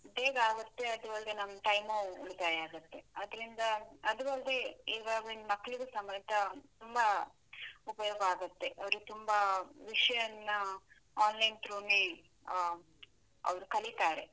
ಬೇಗ ಆಗುತ್ತೆ, ಅದೂ ಅಲ್ದೇ ನಮ್ time ಉಳಿತಾಯ ಆಗುತ್ತೆ ಅದ್ರಿಂದ, ಅದೂ ಅಲ್ದೆ ಇವಾಗಿನ್ ಮಕ್ಳಿಗೂ ಸಮೇತ ತುಂಬಾ ಉಪಯೋಗ ಆಗುತ್ತೆ, ಅವ್ರಿಗ್ ತುಂಬಾ ವಿಷಯನ್ನ online through ನೇ ಆ ಅವ್ರು ಕಲೀತಾರೆ.